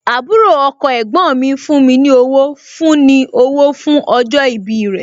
Àbúrò ọkọ ẹ̀gbọ́n mi fún ní owó fún ní owó fún ọjọ́ ìbí rẹ̀